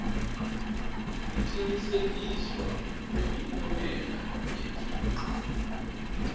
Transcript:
kucinisekiswa kwemiphumela yeticu